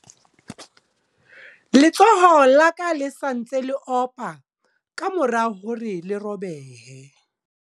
Letsoho la ka le sa ntse le opa ka mora hore le robehe.